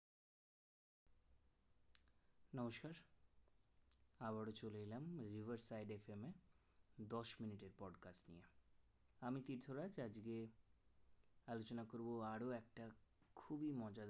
নমস্কার আবারো চলে এলাম rivers side এর জন্য দশ মিনিট পর্যায়, আমি তীর্থরাজ আজকে আলোচনা করবো আরো একটা খুবই মজার